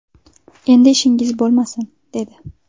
Endi ishingiz bo‘lmasin, dedi.